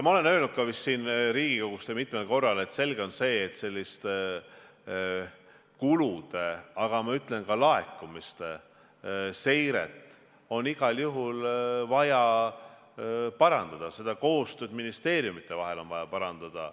Ma olen öelnud ka vist siin Riigikogus mitmel korral, et selge on, et kulude, aga ma ütlen, et ka laekumiste seiret on igal juhul vaja parandada, koostööd ministeeriumide vahel on vaja parandada.